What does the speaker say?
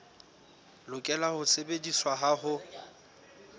lokela ho sebediswa ha ho